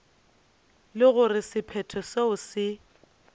le gore sephetho seo se